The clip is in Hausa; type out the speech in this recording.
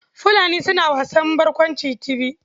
Fulani suna wasan barkwanci Tibi.